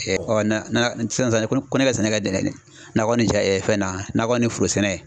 sisan ko ne ka sɛnɛ nakɔ ni fɛn nakɔ ni foro sɛnɛ